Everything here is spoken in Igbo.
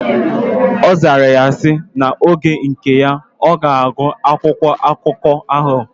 Ozara ya si: Na oge nke ya, oga agu akwụkwọ akụkọ ahu.